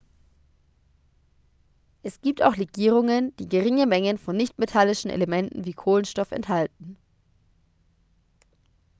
es gibt auch legierungen die geringe mengen von nichtmetallischen elementen wie kohlenstoff enthalten